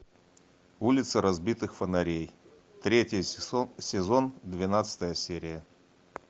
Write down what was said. улица разбитых фонарей третий сезон двенадцатая серия